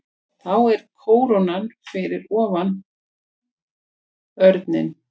Þá er kóróna fyrir ofan örninn.